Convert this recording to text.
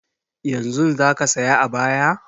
Yanzun za ka saya ayaba?